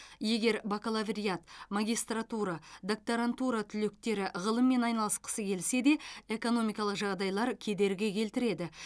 егер бакалавриат магистратура докторантура түлектері ғылыммен айналысқысы келсе де экономикалық жағдайлар кедергі келтіреді